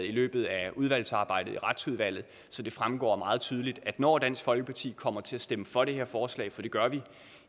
i løbet af udvalgsarbejdet i retsudvalget så det fremgår meget tydeligt at når dansk folkeparti kommer til at stemme for det her forslag for det gør vi